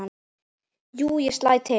Jú, ég slæ til